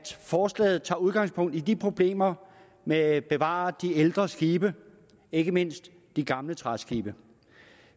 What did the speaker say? forslaget tager udgangspunkt i problemerne med at bevare de ældre skibe ikke mindst de gamle træskibe